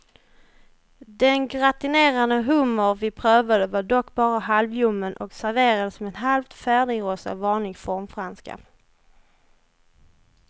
Den gratinerade hummer vi prövade var dock bara halvljummen och serverades med halvt färdigrostad vanlig formfranska.